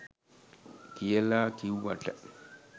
කියලා කිව්වට